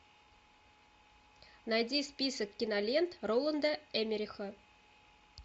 найди список кинолент роланда эммериха